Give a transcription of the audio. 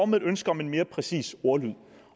med et ønske om en mere præcis ordlyd